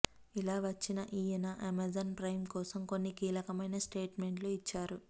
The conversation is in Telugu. ఇలా వచ్చిన ఈయన అమెజాన్ ప్రైమ్ కోసం కొన్ని కీలకమైన స్టేట్మెంట్స్ ఇచ్చారు